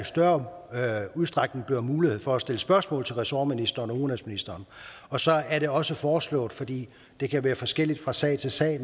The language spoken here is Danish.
større udstrækning bliver mulighed for at stille spørgsmål til ressortministeren og udenrigsministeren så er det også foreslået fordi det kan være forskelligt fra sag til sag